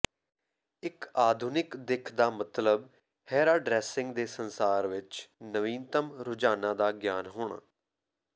ਇੱਕ ਆਧੁਨਿਕ ਦਿੱਖ ਦਾ ਮਤਲਬ ਹੈਹਰਾਡ੍ਰੈਸਿੰਗ ਦੇ ਸੰਸਾਰ ਵਿੱਚ ਨਵੀਨਤਮ ਰੁਝਾਨਾਂ ਦਾ ਗਿਆਨ ਹੋਣਾ